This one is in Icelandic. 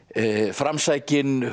framsækinn